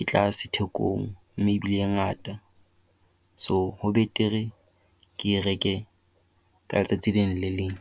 e tlase thekong, mme e bile e ngata. So, ho betere ke e reke ka letsatsi le leng le le leng.